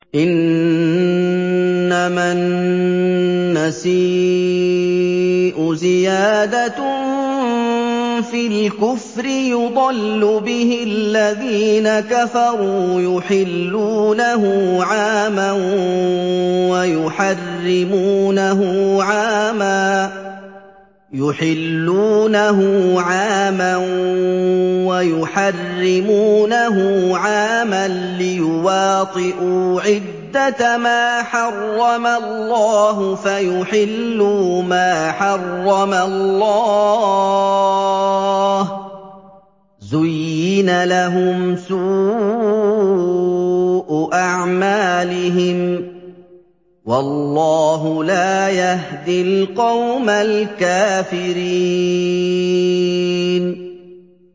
إِنَّمَا النَّسِيءُ زِيَادَةٌ فِي الْكُفْرِ ۖ يُضَلُّ بِهِ الَّذِينَ كَفَرُوا يُحِلُّونَهُ عَامًا وَيُحَرِّمُونَهُ عَامًا لِّيُوَاطِئُوا عِدَّةَ مَا حَرَّمَ اللَّهُ فَيُحِلُّوا مَا حَرَّمَ اللَّهُ ۚ زُيِّنَ لَهُمْ سُوءُ أَعْمَالِهِمْ ۗ وَاللَّهُ لَا يَهْدِي الْقَوْمَ الْكَافِرِينَ